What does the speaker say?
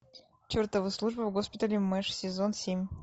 чертова служба в госпитале мэш сезон семь